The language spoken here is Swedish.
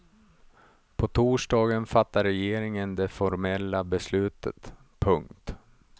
På torsdagen fattar regeringen det formella beslutet. punkt